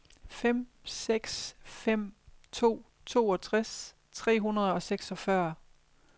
fem seks fem to toogtres tre hundrede og seksogfyrre